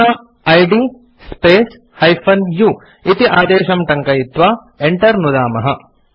अधुना इद् space -u इति आदेशं टङ्कयित्वा enter नुदामः